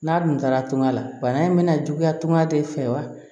N'a dun taara tunga la bana in bɛna juguya tunga de fɛ wa